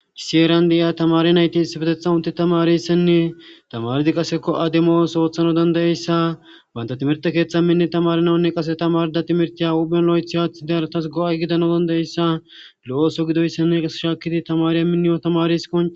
isiyeran de7iya tamari nayti isfetetha unte tamariyssenne tamaridi qaseko ademos ooththano dandayeyssa banta timirte keeththa minne tamarinawunne qase tamarda timirtiya uphphelo7ethi haaththi dearatas go7a gidano dandayeyssa lo7ooso gidoyssenne qase shaakidi tamariya minniyo tamariso